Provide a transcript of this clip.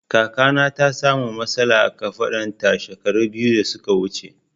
Kakana ta sa mu matsala a kafaɗun ta shekara biyu da suka wuce